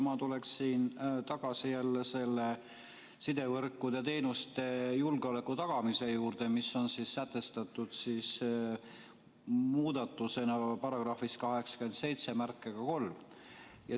Ma tuleksin tagasi selle sidevõrkude teenuste julgeoleku tagamise juurde, mis on sätestatud muudatusena §-s 873.